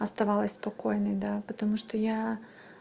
оставалась спокойной да потому что я